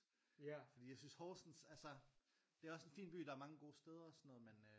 Fordi jeg synes Horsens altså det er også en fin by der er mange gode steder og sådan noget med øh